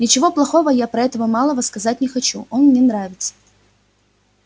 ничего плохого я про этого малого сказать не хочу он мне нравится